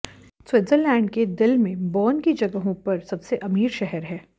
Switzerland के दिल में बर्न की जगहों पर सबसे अमीर शहर है